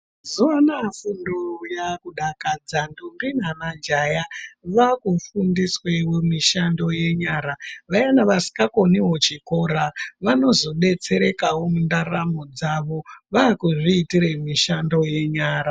Mazuwa anaya fundo yakudakadza ntombi namajaya vakufundiswa mishando yenyara vayana vasingakoniwo chikora vanozodetserekawo mundaramo dzavo vakuzviitra mishando yenyara.